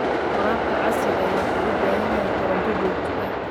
Waraabka casriga ahi wuxuu u baahan yahay koronto joogto ah.